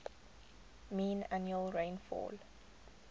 mean annual rainfall